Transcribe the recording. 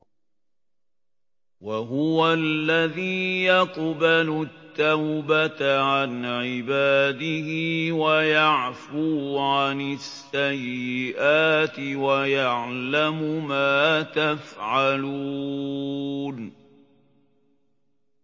وَهُوَ الَّذِي يَقْبَلُ التَّوْبَةَ عَنْ عِبَادِهِ وَيَعْفُو عَنِ السَّيِّئَاتِ وَيَعْلَمُ مَا تَفْعَلُونَ